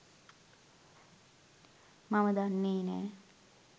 මම දන්නේ නෑ.